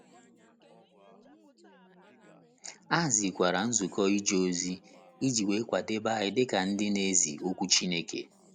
A hazikwara Nzukọ Ije Ozi iji kwadebe anyị dị ka ndị na - ezi Okwu Chineke.